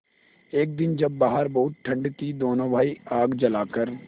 एक दिन जब बाहर बहुत ठंड थी दोनों भाई आग जलाकर